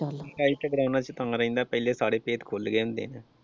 ਚੱਲ ਪਹਿਲੇ ਸਾਰੇ ਭੇਤ ਖੁੱਲ੍ਹ ਜਾਂਦੇ ਨੇ।